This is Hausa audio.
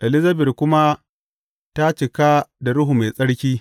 Elizabet kuma ta cika da Ruhu Mai Tsarki.